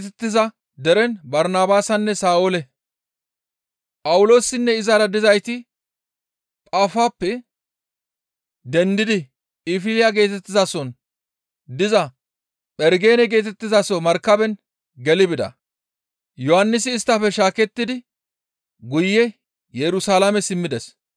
Phawuloosinne izara dizayti Phaafappe dendidi Phinfiliya geetettizason diza Phergene geetettizaso markaben geli bida; Yohannisi isttafe shaakettidi guye Yerusalaame simmides.